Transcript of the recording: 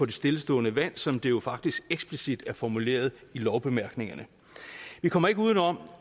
det stillestående vand som det jo faktisk eksplicit er formuleret i lovbemærkningerne vi kommer ikke uden om